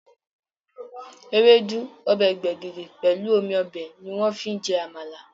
Ewédú, ọbẹ̀ gbẹ̀gìrì, pelu omi ọbẹ̀ ni wọ́n fi ń jẹ Àmàlà